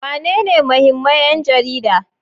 Wanene muhimman 'yan jarida?